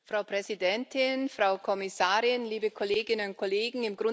Frau Präsidentin, Frau Kommissarin, liebe Kolleginnen und Kollegen!